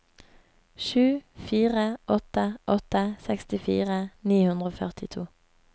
sju fire åtte åtte sekstifire ni hundre og førtito